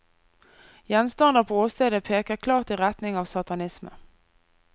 Gjenstander på åstedet peker klart i retning av satanisme.